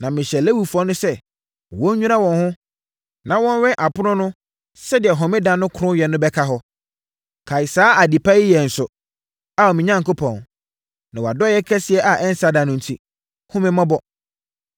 Na mehyɛɛ Lewifoɔ no sɛ, wɔnnwira wɔn ho, na wɔnnwɛn apono no sɛdeɛ Homeda no kronnyɛ no bɛka hɔ. Kae saa ade pa yi yɛ nso, Ao me Onyankopɔn, na wʼadɔeɛ kɛseɛ a ɛnsa da no enti, hunu me mmɔbɔ.